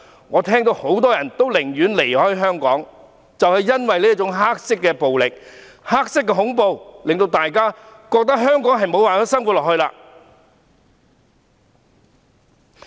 我聽到很多人寧願離開香港，就是因為這種黑色暴力和黑色恐怖，令到大家覺得無法在香港生活下去。